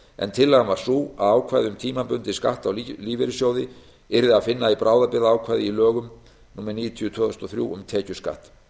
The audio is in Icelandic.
en tillagan var sú að ákvæði um tímabundinn skatt á lífeyrissjóði yrði að finna í bráðabirgðaákvæði í lögum númer níutíu tvö þúsund og þrjú um tekjuskatt